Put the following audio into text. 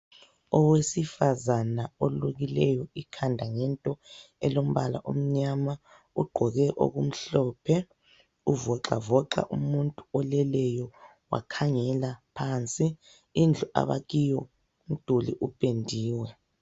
Owesifazana olukhileyo ikhanda ngento elombala omnyama ugqoke okumhlophe. Uvoxavoxa umuntu oleleyo wakhangela phansi. Indlu abakiyo umduli upendiwe.